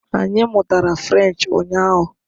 Anyị mụtara French ụnyaahụ